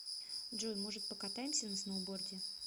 джой может покатаемся на сноуборде